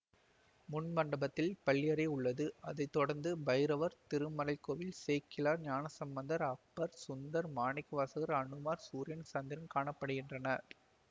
முன்மண்டபத்தில் பள்ளியறை உள்ளது அதை தொடரந்து பைரவர் திருமறைக்கோயில் சேக்கிழார் ஞானசம்பந்தர் அப்பர் சுந்தர் மாணிக்கவாசகர் அனுமார் சூரியன் சந்திரன் காண படுகின்றனர்